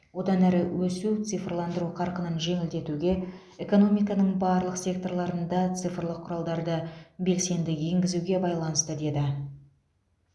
одан әрі өсу цифрландыру қарқынын жеделдетуге экономиканың барлық секторларында цифрлық құралдарды белсенді енгізуге байланысты деді